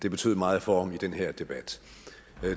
det betød meget for ham i den her debat